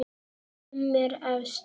Kim er efst.